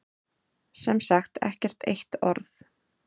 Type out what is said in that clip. Sem sagt ekkert eitt orð.